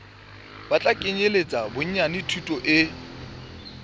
tla kenyeletsa bonyane thuto e